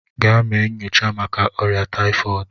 Gaa mee nnyocha màkà órià tayifọọdu!